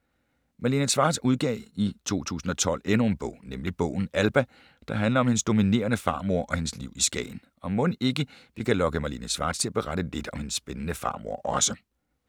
Malene Schwartz udgav i 2012 endnu en bog, nemlig bogen Alba, der handler om hendes dominerende farmor og hendes liv i Skagen. Og mon ikke, vi kan lokke Malene Schwartz til at berette lidt om hendes spændende farmor også?